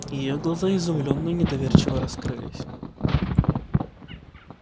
её глаза изумлённо и недоверчиво раскрылись